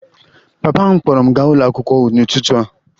Papa m kpọọrọ m gaa ụlọ akwụkwọ n'ụtụtụ a